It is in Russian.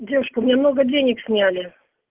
девушка мне много денег сняли